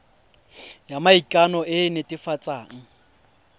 ya maikano e e netefatsang